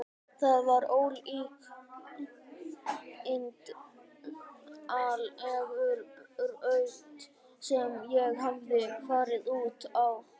Það var ólíkindaleg braut sem ég hafði farið út á.